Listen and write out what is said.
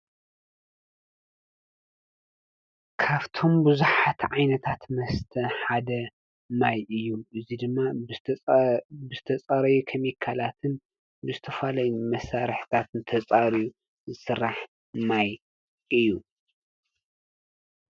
ካብቶም ብዙሓት ዓይነታት መስተ ሓደ ማይ እዪ እዚ ድማ ዝተፃረዩ ኬሚካላትን ብ ዝተፈላለዪ መሳርሕታትን ተፃርዪ ዝስራሕ ማይ እዪ ።